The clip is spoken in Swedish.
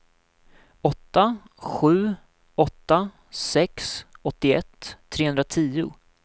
åtta sju åtta sex åttioett trehundratio